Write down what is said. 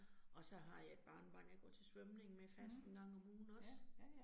Og så har jeg et barnebarn, jeg går til svømning med fast 1 gang om ugen også